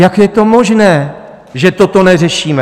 Jak je to možné, že toto neřešíme?